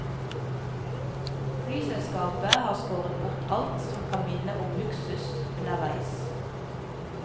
Flyselskapet har skåret bort alt som kan minne om luksus underveis.